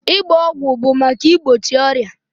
Ịgba ọgwụ bụ maka igbochi ọrịa.